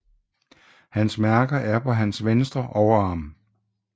Hans mærke er på hans ventre overarm